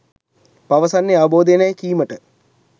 පවසන්නේ අවබෝධයෙනැයි කීමට